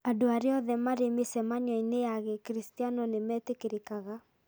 Andũ arĩa othe marĩ mĩcemanio-inĩ ya Gĩkristiano nĩ metĩkĩrĩkaga.